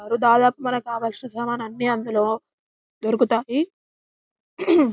దాదాపు మనకు కావాల్సిన సమానులే అన్ని అందులో దొరుకుతాయి.